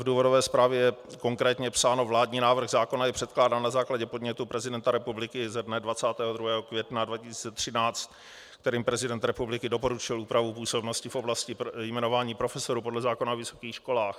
V důvodové zprávě je konkrétně psáno: "Vládní návrh zákona je předkládán na základě podnětu prezidenta republiky ze dne 22. května 2013, kterým prezident republiky doporučil úpravu působnosti v oblasti jmenování profesorů podle zákona o vysokých školách."